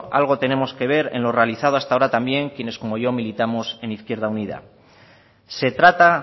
algo tenemos que ver en lo realizado hasta ahora también quienes como yo militamos en izquierda unida se trata